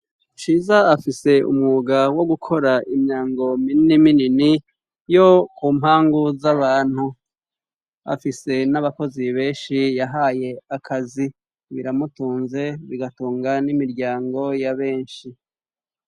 Ciza afise umwuga wo gukora imiryango minini minini yo ku mpangu z'abantu, afise n'abakozi benshi yahaye akazi biramutunze bigatunga n'imiryango y'a benshi.